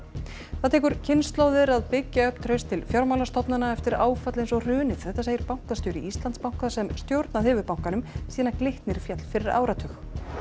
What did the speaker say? það tekur kynslóðir að byggja upp traust til fjármálastofnana eftir áfall eins og hrunið þetta segir bankastjóri Íslandsbanka sem stjórnað hefur bankanum síðan Glitnir féll fyrir áratug